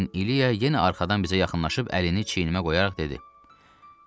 Lakin İliya yenə arxadan bizə yaxınlaşıb əlini çiynimə qoyaraq dedi: